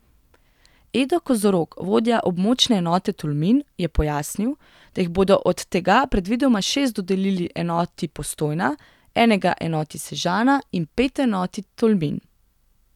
Edo Kozorog, vodja območne enote Tolmin, je pojasnil, da jiih bodo od tega predvidoma šest dodelili enoti Postojna, enega enoti Sežana in pet enoti Tolmin.